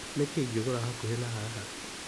Nĩkũ ingĩgũra hakuhĩ na haha?